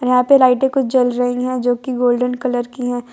यहां पे लाइटें कुछ जल रही हैं जो की गोल्डन कलर की हैं।